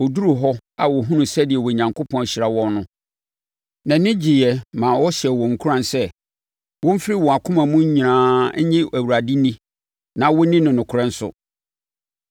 Ɔduruu hɔ a ɔhunuu sɛdeɛ Onyankopɔn ahyira wɔn no, nʼani gyeeɛ maa ɔhyɛɛ wɔn nkuran sɛ, wɔmfiri wɔn akoma nyinaa mu nnye Awurade nni na wɔnni no nokorɛ nso.